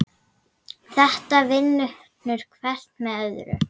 Þetta vinnur hvert með öðru.